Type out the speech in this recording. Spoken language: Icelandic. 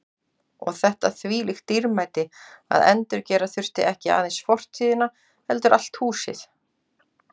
Og þetta þvílíkt dýrmæti að endurgera þurfti ekki aðeins fortíðina heldur allt húsið.